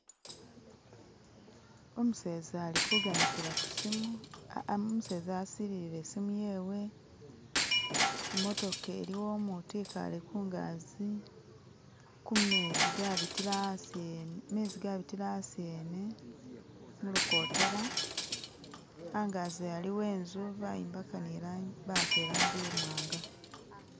Umuseza asililile i'simu yewe, i'motoka iliwo umutu e'kale kungazi kumezi gabitila asi ene mulukotela anganzi aliwo inzu bawaka i'langi i'mwanga